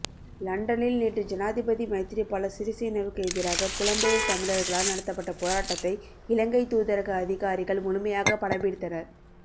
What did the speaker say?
லண்டனில் நேற்று ஜனாதிபதி மைத்திரிபால சிறிசேனவுக்கு எதிராக புலம்பெயர் தமிழர்களால் நடத்தப்பட்ட போராட்டத்தை இலங்கை தூதரக அதிகாரிகள் முழுமையாக படம்பிடித்தனர்